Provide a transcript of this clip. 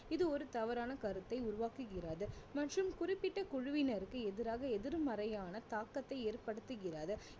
இது ஒரு தவறான கருத்தை உருவாக்குகிறது மற்றும் குறிப்பிட்ட குழுவினருக்கு எதிராக எதிர்மறையான தாக்கத்தை ஏற்படுத்துகிறது